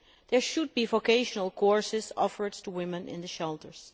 There should be vocational courses offered to women in the shelters.